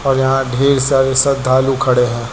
यहां ढेर सारे श्रद्धालु खड़े हैं।